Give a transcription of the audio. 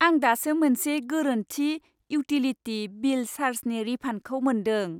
आं दासो मोनसे गोरोन्थि इउटिलिटि बिल चार्जनि रिफान्डखौ मोन्दों।